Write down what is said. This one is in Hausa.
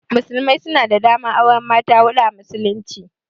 Musulmai suna da daman auran mata hudu a musulunci.